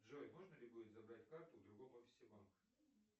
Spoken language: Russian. джой можно ли будет забрать карту в другом офисе банка